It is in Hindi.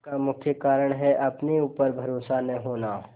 इसका मुख्य कारण है अपने ऊपर भरोसा न होना